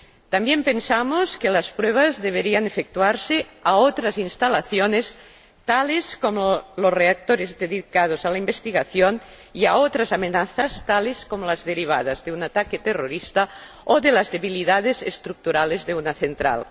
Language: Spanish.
También pensamos que las pruebas deberían efectuarse sobre otras instalaciones, tales como los reactores dedicados a la investigación, y respecto de otras amenazas, tales como las derivadas de un ataque terrorista o de las debilidades estructurales de una central.